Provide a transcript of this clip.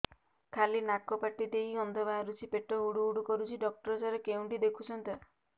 ଖାଲି ନାକ ପାଟି ଦେଇ ଗଂଧ ବାହାରୁଛି ପେଟ ହୁଡ଼ୁ ହୁଡ଼ୁ କରୁଛି ଡକ୍ଟର ସାର କେଉଁଠି ଦେଖୁଛନ୍ତ